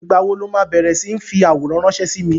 Ìgbà wo lo ma bẹ̀rẹ̀ sí ń fi àwòrán ránsẹ́ sí mi?